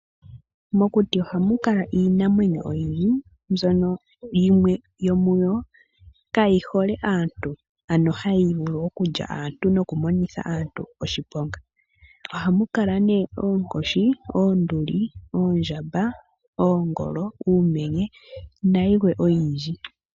Mokuti ohamu kala iinamwenyo oyindji mbyono yimwe yomuyo kayihole aantu ano hayi vulu okulya aantu nokumonitha aantu oshiponga. Ohamu kala nee oonkoshi, oonduli ,oondjamba, oonduli ,uumenye nayilwe oyindji